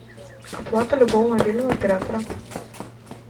оплата любого мобильного оператора